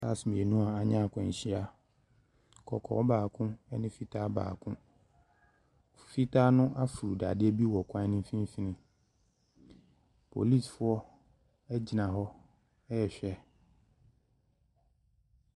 Cars mmienu anya akwanhyia. Kɔkɔɔ baako ne fitaa baako. Fitaa no aforo dadeɛ bi wɔ kwan no mfimfini. Policefoɔ gyina hɔ rehwɛ.